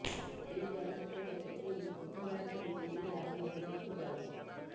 ଏହି ଚଳଚ୍ଚିତ୍ରର ସୁଟିଙ୍ଗ ବୁଧବାରଠାରୁ ଦିଲ୍ଲୀରେ ଆରମ୍ଭ ହେବାକୁ ଯାଉଛି